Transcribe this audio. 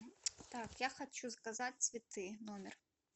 так я хочу заказать цветы в номер